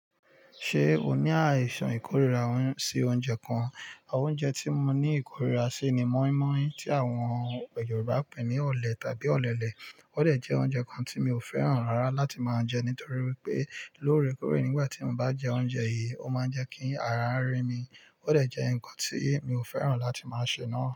Ṣé o ní àìsàn ìkóríra sí oúnjẹ kan? Oúnjẹ tí mo ní ìkóríra sí ni mọ́ímọ́í tí àwọn Yorùbá pè ní ọ̀lẹ̀ tàbí ọ̀lẹ̀lẹ̀. Ọ̀dẹ̀ jẹ́ oúnjẹ kan tí mi ò fẹ́ràn rárá láti máa jẹ nítorí wípé lóorekóre nígbà tí mo bá jẹ oúnjẹ yìí, ó máa ń jẹ́ kí ara ń rẹ mí. Ọ̀dẹ̀ jẹ́ ǹkan tí mi ò fẹ́ràn láti máa ṣe náà.